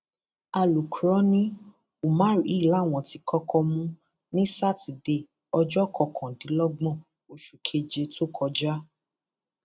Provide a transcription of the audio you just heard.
alùkró ni umar yìí làwọn ti kọkọ mú ní sátidé ọjọ kọkàndínlọgbọn oṣù keje tó kọjá